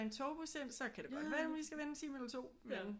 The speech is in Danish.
En togbus ind så kan det godt være man lige skal vente 1 time eller 2 men